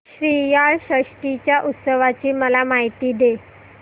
श्रीयाळ षष्टी च्या उत्सवाची मला माहिती दे